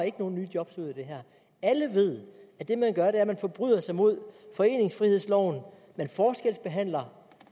nogen nye job ud af det her alle ved at det man gør er at man forbryder sig mod foreningsfrihedsloven man forskelsbehandler